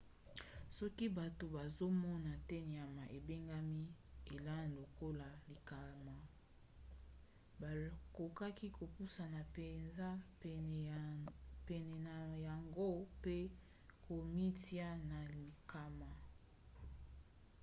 soki bato bazomona te nyama ebengami elan lokola likama bakoki kopusana mpenza pene na yango mpe komitia na likama